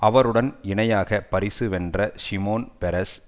அவருடன் இணையாக பரிசு வென்ற ஷிமோன் பெரஸ்